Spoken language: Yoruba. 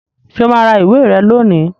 Ṣé o máa ra ìwé rẹ lónìí